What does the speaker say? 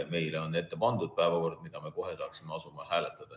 Meile on ette pandud päevakord, mida me kohe saaksime asuda hääletama.